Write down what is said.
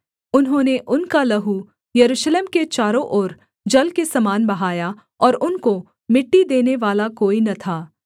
उन्होंने उनका लहू यरूशलेम के चारों ओर जल के समान बहाया और उनको मिट्टी देनेवाला कोई न था